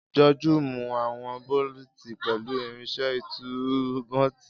Joju mu awọn boluti pẹlu irinṣẹ́ ìtú nọ́ọ̀tì.